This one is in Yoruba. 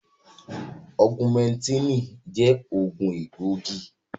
Augumẹntínì jẹ́ òògùn egbòogi.